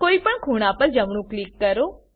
કોઈ પણ ખૂણા પર જમણું ક્લિક કરો